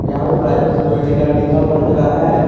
यहां पे private security guard लिखा हुआ नजर आ रहा है।